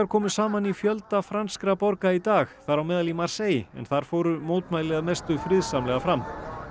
komu saman í fjölda franskra borga í dag þar á meðal í Marseille en þar fóru mótmæli að mestu friðsamlega fram